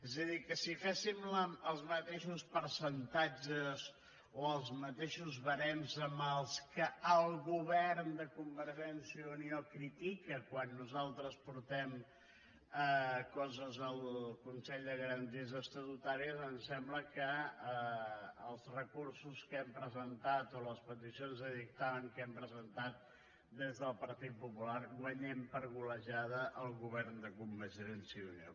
és a dir que si féssim els mateixos percentatges o els mateixos barems amb què el govern de convergència i unió critica quan nosaltres portem coses al consell de garanties estatutàries em sembla que als recursos que hem presentat o les peticions de dictamen que hem presentat des del partit popular guanyem per golejada el govern de convergència i unió